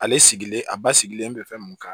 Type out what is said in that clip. Ale sigilen a ba sigilen bɛ fɛn mun kan